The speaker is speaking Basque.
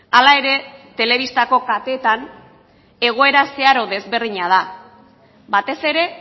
hala ere telebistako kateetan egoera zeharo desberdina da batez ere